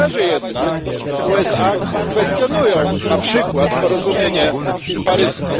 Na razie jednak USA kwestionują na przykład porozumienie paryskie.